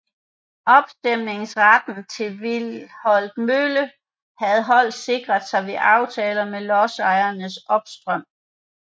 Opstemningsretten til Vilholt Mølle havde Holst sikret sig ved aftaler med lodsejerne opstrøms